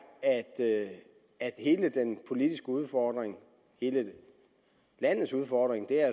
at hele den politiske udfordring og hele landets udfordring